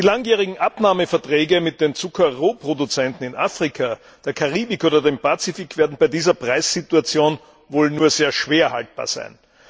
Die langjährigen Abnahmeverträge mit den Zuckerrohproduzenten in Afrika, der Karibik oder dem Pazifik werden bei dieser Preissituation wohl nur sehr schwer haltbar sein.